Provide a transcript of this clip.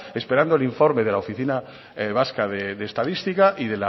esperando el informe de la oficina vasca de estadística